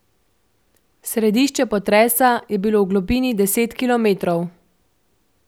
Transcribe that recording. Središče potresa je bilo v globini deset kilometrov.